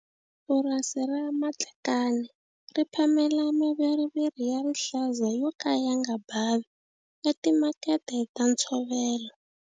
Purasi ra Matlakane ri phamela maviriviri ya rihlaza yo ka ya nga bavi etimakete ta ntshovelo.